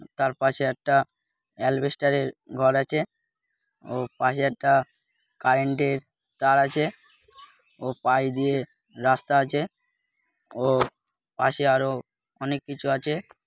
উ তার পাশে একটা আলবেস্টারের ঘর আছে ও পাশে একটা কারেন্টের তার আছে ও পাশ দিয়ে রাস্তা আছে ও পাশে আরো অনেক কিছু আছে।